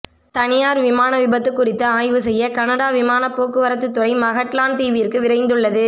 தனியார் விமான விபத்து குறித்து ஆய்வு செய்ய கனடா விமான போக்குவரத்து துறை மகட்லாண்ட் தீவிற்கு விரைந்துள்ளது